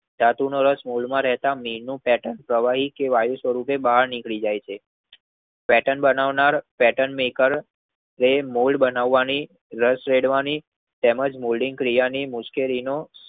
ધાતુ નું વશ મોલ્ડ માં મીન નું પ્રવાહી કે વાયુ સ્વરૂપે બહાર નિકરે છે. પેર્ટન બનાવનાર પેર્ટન મેકેર જે મોલ્ડ બનાવની રસ જોડવાની તેમજ મોલ્ડિંગ ક્રિયાની મુશ્કેલી નો